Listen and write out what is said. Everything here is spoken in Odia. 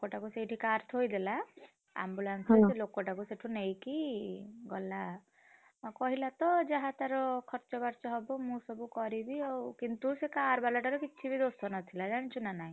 ଲୋକ ଟାକୁ ସେଇଠି car ଥୋଇଦେଲା ambulance ଟା ସେ ଲୋକ ଟାକୁ ସେଠୁ ନେଇକି ଗଲା, କହିଲା ତ ଯାହା ତାର ଖର୍ଚ୍ଚ ବାର୍ଚ୍ଚ ହବ ମୁଁ ସବୁ କରିବି କିନ୍ତୁ car ବାଲା ଟା ର କିଛି ବି ଦୋଷ ନଥିଲା ଜାଣିଛୁ ନା!